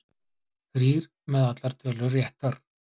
Þrír með allar tölur réttar